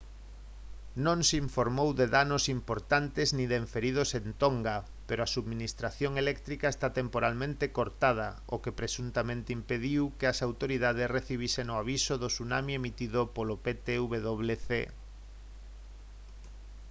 non se informou de danos importantes nin de feridos en tonga pero a subministración eléctrica está temporalmente cortada o que presuntamente impediu que as autoridades recibisen o aviso de tsunami emitido polo ptwc